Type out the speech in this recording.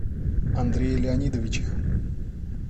андрее леонидовиче